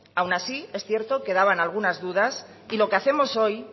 aun así es cierto quedaban algunas dudas y lo que hacemos hoy